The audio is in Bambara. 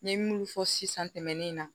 N ye munnu fɔ sisan tɛmɛnen na